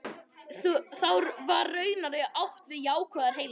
Þá var raunar átt við jákvæðar heilar tölur.